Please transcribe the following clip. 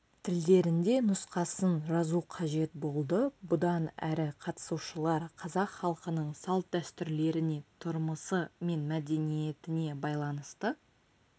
тілдерінде нұсқасын жазу қажет болды бұдан әрі қатысушылар қазақ халқының салт-дәстүрлеріне тұрмысы мен мәдениетіне байланысты